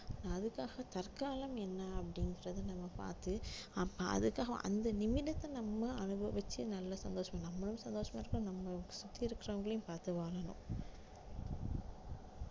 அதுக்காக தற்காலம் என்ன அப்படின்றத நம்ம பார்த்து அப்ப அதுக்காக அந்த நிமிடத்தை நம்ம அனுபவிச்சு நல்ல சந்தோஷமா நம்மளும் சந்தோஷமா இருப்போம் நம்மள சுத்தி இருக்கிறவங்களையும் பார்த்து வாழணும்